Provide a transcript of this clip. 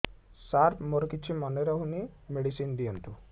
ସାର ମୋର କିଛି ମନେ ରହୁନି ମେଡିସିନ ଦିଅନ୍ତୁ